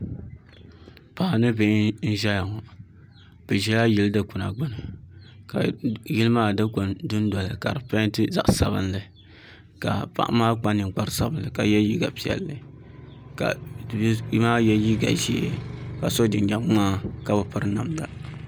Paɣa ni bihi n ʒɛya ŋɔ bi ʒɛla yili dikpuna gbuni ka yili maa dikpuni dundoli ka di peenti zaɣ sabinli ka paɣa maa kpa ninkpari sabinli ka yɛ liiga piɛlli ka bia maa yɛ liiga ʒiɛ ka so jinjɛm ŋmaa ka bi piri namda